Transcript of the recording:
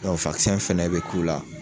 Dɔ fɛnɛ bɛ k'u la